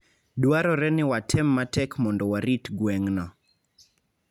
Dwarore ni watem matek mondo warit gweng'no.